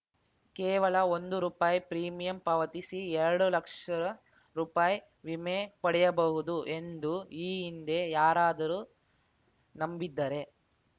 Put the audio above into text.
ಕೇವಲ ಒಂದು ರೂಪಾಯಿ ಪ್ರೀಮಿಯಂ ಪಾವತಿಸಿ ಎರಡು ಲಕ್ಷ ರೂಪಾಯಿ ವಿಮೆ ಪಡೆಯಬಹುದು ಎಂದು ಈ ಹಿಂದೆ ಯಾರಾದರೂ ನಂಬಿದ್ದರೆ